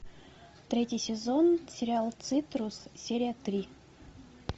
третий сезон сериал цитрус серия три